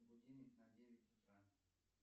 будильник на девять утра